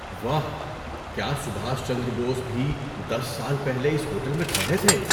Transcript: واہ! کیا سبھاش چندر بوس بھی دس سال پہلے اس ہوٹل میں ٹھہرے تھے؟